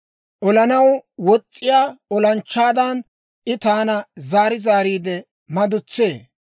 Olanaw wos's'iyaa olanchchaadan, I taana zaari zaariide madutsee.